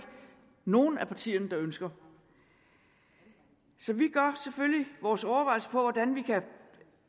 nogen af partierne der ønsker så vi gør selvfølgelig vores overvejelser hvordan vi kan